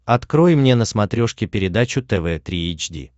открой мне на смотрешке передачу тв три эйч ди